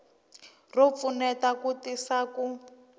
ro pfuneta ku tisa ku